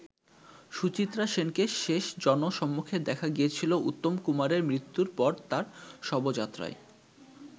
সুচিত্রা সেনকে শেষ জনসম্মুখে দেখা গিয়েছিল উত্তম কুমারের মৃত্যুর পর তার শবযাত্রায়।